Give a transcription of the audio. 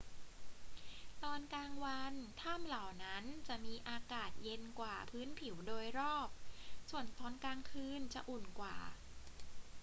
ตอนกลางวันถ้ำเหล่านั้นจะมีอากาศเย็นกว่าพื้นผิวโดยรอบ ส่วนตอนกลางคืนจะอุ่นกว่า